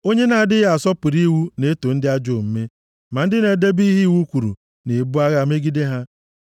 Onye na-adịghị asọpụrụ iwu na-eto ndị ajọ omume, ma ndị na-edebe ihe iwu kwuru na-ebu agha megide ha.